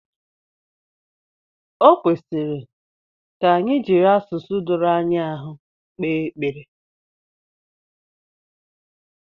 Ọ kwesịrị ka anyị jiri asụsụ doro ya ahụ kpee ekpere